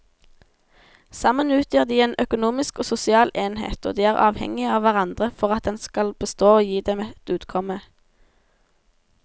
Sammen utgjør de en økonomisk og sosial enhet og de er avhengige av hverandre for at den skal bestå og gi dem et utkomme.